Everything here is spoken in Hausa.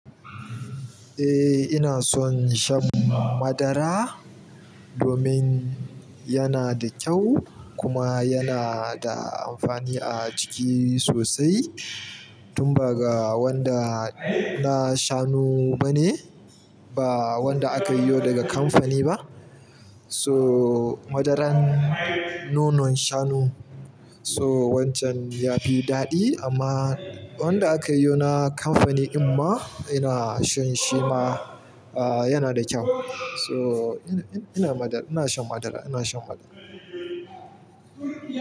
Eh, ina son shan madara domin yana da kyau kuma yana da amfani a jiki sosai. Tunda ba wanda na shanu bane, ba wanda aka yi ne daga kamfani ba. So, madaran nonon shanu, so wancan yafi ɗaɗi amma wanada aka yi na kamfani ɗin ma, ina shan shima, yana da kyau. So ina-ina madar-- ina shan madara, ina shan madara.